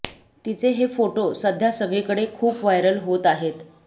तिचे हे फोटो सध्या सगळीकडे खूप व्हायरल होत आहेत